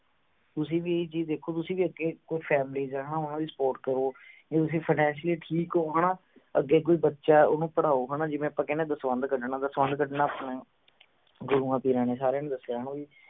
ਤੁਸੀਂ ਵੀ ਹ ਚੀਜ ਦੇਖੋ ਤੁਸੀਂ ਵੀ ਅੱਗੇ ਇਕੋ families ਹੈ ਹਣਾ ਓਹਨਾ ਦੀ support ਕਰੋ ਜੇ ਤੁਸੀਂ finacially ਠੀਕ ਹੋ ਹਣਾ ਅੱਗੇ ਕੋਈ ਬੱਚਾ ਓਹਨੂੰ ਪੜ੍ਹਾਓ ਹਣਾ ਜਿਵੇਂ ਆਪਾਂ ਕਹਿਣੇ ਆ ਦਸਵੰਦ ਕੱਢਣਾ ਦਸਵੰਦ ਕੱਢਣਾ ਆਪਣੇ ਗੁਰੂਆਂ ਪੀਰਾਂ ਨੇ ਸਾਰੀਆਂ ਨੇ ਦੱਸਿਆ ਹਣਾ ਵੀ